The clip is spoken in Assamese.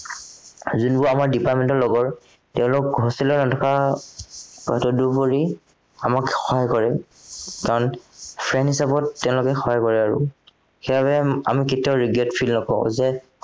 যোনবোৰ আমাৰ department ৰ লগৰ তেওঁলোক hostel ত নথকা তদুপৰি আমাক সহায় কৰে কাৰণ friend হিচাপত তেওঁলোকে সহায় কৰে আৰু সেইবাবে আমি কেতিয়াও regret feel নকৰো যে